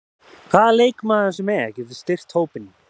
Hvaða leikmaður sem er getur styrkt hópinn.